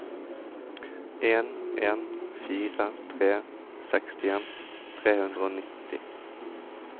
en en fire tre sekstien tre hundre og nitti